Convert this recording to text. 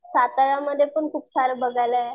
साताऱ्यामध्ये पण खूप सारं बघायला आहे.